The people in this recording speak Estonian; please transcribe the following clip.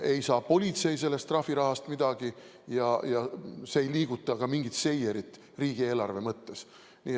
Ei saa politsei sellest trahvirahast midagi ja see ei liiguta mingit seierit riigieelarve mõttes.